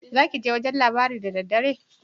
Zakije wajan labari da daddare?